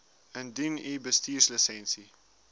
indien u bestuurslisensie